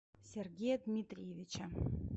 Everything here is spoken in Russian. сергея дмитриевича